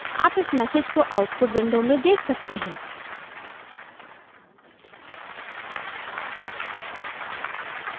आप इस message को output window में देख सकते हैं